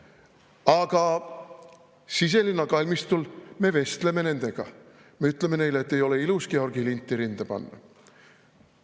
... aga Siselinna kalmistul me vestleme nendega, me ütleme neile, et ei ole ilus Georgi linti rinda panna.